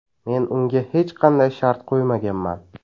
Men unga hech qanday shart qo‘ymaganman.